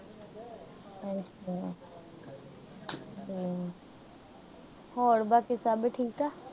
ਹੋਰ ਬਾਕੀ ਸਭ ਠੀਕ।